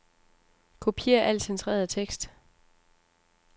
Kopier al centreret tekst.